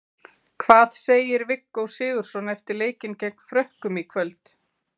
Hvað segir Viggó Sigurðsson eftir leikinn gegn Frökkum í kvöld?